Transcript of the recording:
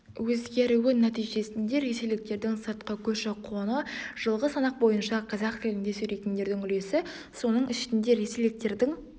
өзгеруі нәтижесінде ресейліктердің сыртқы көші-қоны жылғы санақ бойынша қазақ тілінде сөйлейтіндердің үлесі соның ішінде ресейліктердің